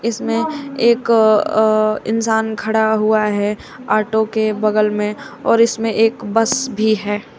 इसमें एक अ अ इंसान खड़ा हुआ है ऑटो के बगल में और इसमें एक बस भी है।